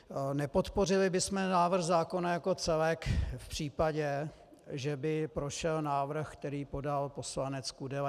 Nepodpořili bychom návrh zákona jako celek v případě, že by prošel návrh, který podal poslanec Kudela.